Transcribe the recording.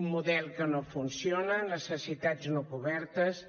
un model que no funciona necessitats no cobertes